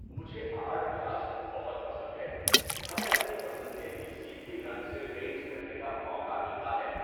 مجھے art class بہت پسند ہے۔ ہمیں اپنی پسند کے کسی بھی رنگ سے پینٹ کرنے کا موقع ملتا ہے۔